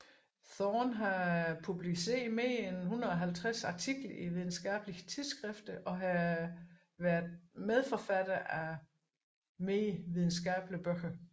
Thorne har publiceret mer end 150 artikler i videnskabelige tidsskrifter og har vært medforfatter af flere videnskabelige bøger